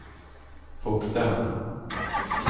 vokterne